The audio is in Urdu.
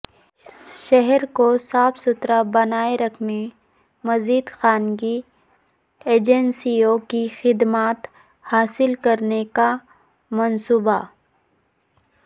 شہر کو صاف ستھرا بنائے رکھنے مزید خانگی ایجنسیوں کی خدمات حاصل کرنے کا منصوبہ